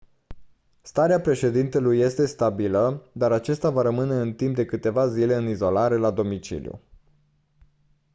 starea președintelui este stabilă dar acesta va rămâne timp de câteva zile în izolare la domiciliu